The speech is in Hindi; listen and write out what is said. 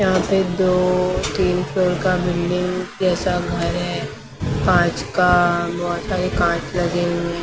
यहाँ से दो तीन फ्लोर का बिल्डिंग जैसा घर हैं काँच का बहुत सारे काँच लगे हुए --